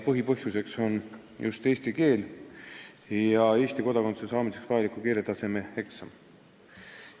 Põhipõhjus on just eesti keel, st Eesti kodakondsuse saamiseks vajaliku keeletaseme eksam.